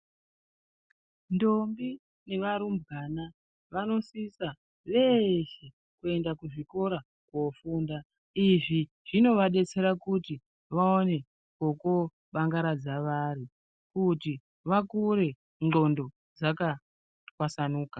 Ndombi neva rumbwana vanosisa veshe kuenda kuzvikora kofunda . Izvi zvinovadatsere kuti vawane kokuba ngaradza vari, kuti vakure ndxondo dzaka twasanuka.